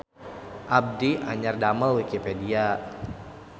Abdi anyar damel wikipedia